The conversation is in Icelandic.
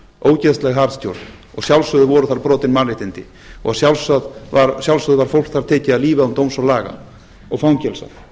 ógeðsleg harðstjórn og að sjálfsögðu voru þar brotin mannréttindi og að sjálfsögðu var fólk þar tekið af lífi án dóms og laga og fangelsað